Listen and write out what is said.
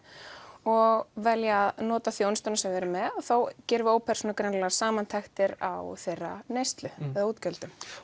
og velja að nota þjónustuna sem við erum með og þá gerum við ópersónulegar samantektir á þeirra neyslu og útgjöldum